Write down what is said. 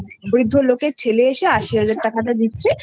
ওই বৃদ্ধ লোকের ছেলে এসে আশি হাজার টাকাটা দিচ্ছে